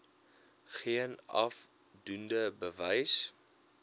geen afdoende bewys